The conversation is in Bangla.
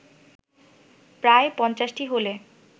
প্রায় পঞ্চাশটি হলে